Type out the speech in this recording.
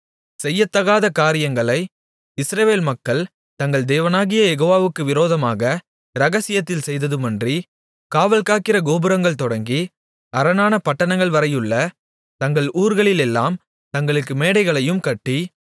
செய்யத்தகாத காரியங்களை இஸ்ரவேல் மக்கள் தங்கள் தேவனாகிய யெகோவாவுக்கு விரோதமாக இரகசியத்தில் செய்ததுமன்றி காவல்காக்கிற கோபுரங்கள் தொடங்கி அரணான பட்டணங்கள்வரையுள்ள தங்கள் ஊர்களிலெல்லாம் தங்களுக்கு மேடைகளையும் கட்டி